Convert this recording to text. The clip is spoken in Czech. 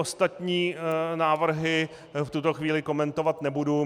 Ostatní návrhy v tuto chvíli komentovat nebudu.